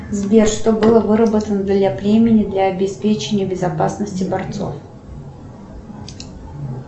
сбер что было выработано для племени для обеспечения безопасности борцов